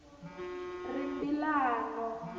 rimbilano